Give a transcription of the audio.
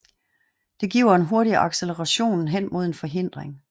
Det giver en hurtig acceleration hen mod en forhindring